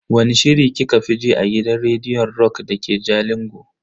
Wani shiri kika fi ji a gidan rediyon rock dake jalingo?